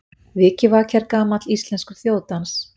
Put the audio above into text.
Vikivaki er gamall íslenskur þjóðdans.